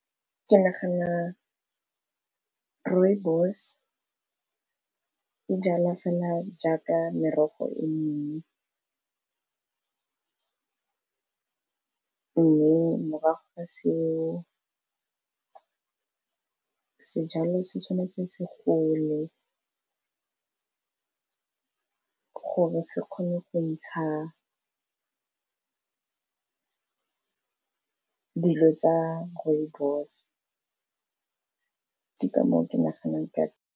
Ke nagana, Rooibos e jala fela jaaka merogo e mengwe. Mme morago ga seo sejalo se tshwanetse se gole, gore se kgone go ntsha dilo tsa Rooibos ka moo ke naganang ka.